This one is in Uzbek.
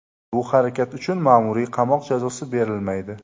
Bu harakat uchun ma’muriy qamoq jazosi berilmaydi.